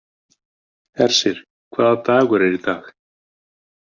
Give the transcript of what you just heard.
Hersir, hvaða dagur er í dag?